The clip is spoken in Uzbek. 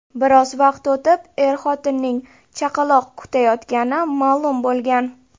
Biroz vaqt o‘tib, er-xotinning chaqaloq kutayotgani ma’lum bo‘lgan .